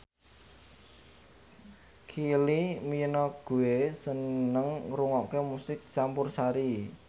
Kylie Minogue seneng ngrungokne musik campursari